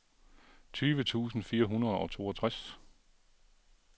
tyve tusind fire hundrede og toogtres